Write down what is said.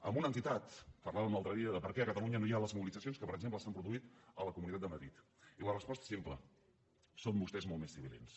amb una entitat parlàvem l’altre dia de per què a catalunya no hi ha les mobilitzacions que per exemple s’han produït a la comunitat de madrid i la resposta és simple són vostès molt més sibil·lins